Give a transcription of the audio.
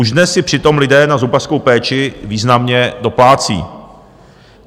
Už dnes si přitom lidé na zubařskou péči významně doplácí.